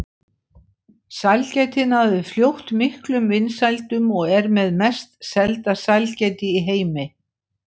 Sælgætið náði fljótt miklum vinsældum og er með mest selda sælgæti í heimi.